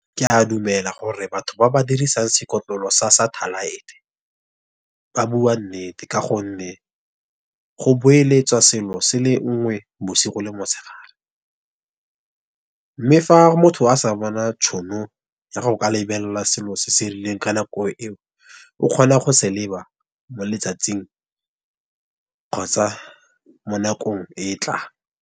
Ke a dumela gore batho ba ba dirisang sekotlolo sa satellite-e, ba bua nnete ka gonne go boeletswa selo se le nngwe bosigo le motshegare. Mme fa motho a sa bona tšhono ya go ka lebelela selo se se rileng ka nako eo, o kgona go se leba mo letsatsing kgotsa mo nakong e e tlang.